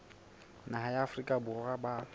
naha ya afrika borwa ba